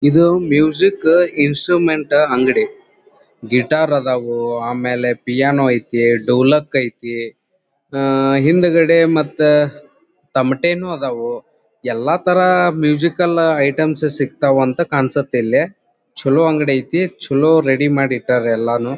ಇದು music instrument ಅಂಗಡಿ guitar ಅದವ್ ಆಮೇಲೆ ಪಿಯಾನೋ ಐತಿ ಡೋಲಕ್ ಐತಿ ಅಹ್ ಹಿಂದಗಡೆ ಮತ್ತೆ ತಮಟೆನು ಅದವು ಎಲ್ಲಾ ತರ ಮ್ಯೂಸಿಕಲ್ ಐಟಂ ಸಿಗತ್ವ್ ಅಂತ ಕಾಣಿಸುತ್ತಿಲ್ಲಿ ಚಲೋ ಅಂಗಡಿ ಐತಿ ಚಲೋ ರೆಡಿ ಮಾಡಿ ಇಟ್ಟರ್ ಎಲ್ಲಾನು.